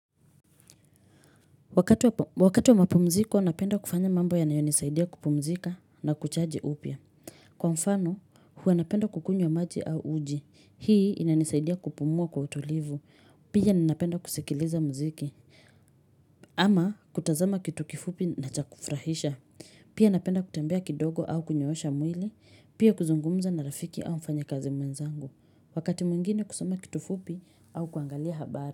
Wakati wa mapumziko, napenda kufanya mambo ya nayonisaidia kupumzika na kuchaji upia. Kwa mfano, huwa napenda kukunywa maji au uji. Hii inanisaidia kupumua kwa utulivu. Pia ninapenda kusikiliza mziki. Ama kutazama kitu kifupi na cha kufrahisha. Pia napenda kutembea kidogo au kunyoosha mwili. Pia kuzungumza na rafiki au mfanyakazi mwenzangu. Wakati mwingine kusoma kitu fupi au kuangalia habari.